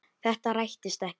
Þetta rættist ekki.